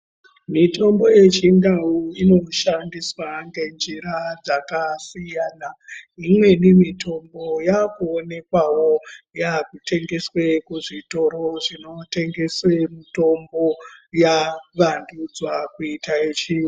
Mitombo yechindau inoshandiswa ngenjira dzakasiyana imweni mitombo yakuonekwawo yakutengeswa kuzvitoro zvinotengese mitombo yavandudzwa kuita yechiyungu.